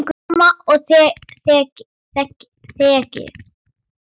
Sama og þegið!